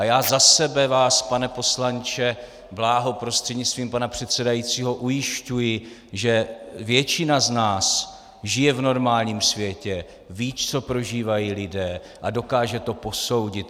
A já za sebe vás, pane poslanče Bláho, prostřednictvím pana předsedajícího ujišťuji, že většina z nás žije v normálním světě, ví, co prožívají lidé, a dokáže to posoudit.